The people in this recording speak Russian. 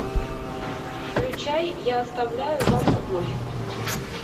включай я оставляю вам любовь